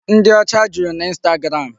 Ndị ọcha juru naInstagram.